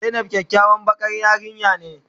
Zainab kyakyawan bakan yarinya ne.